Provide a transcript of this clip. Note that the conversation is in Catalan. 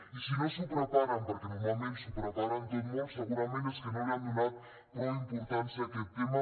i si no s’ho preparen perquè normalment s’ho preparen tot molt segurament és que no li han donat prou importància a aquest tema